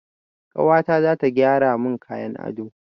Kawata zata gyara mun kayan ado